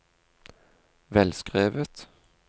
velskrevet